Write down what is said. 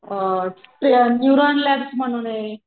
अ ते neuron lab म्हणूने,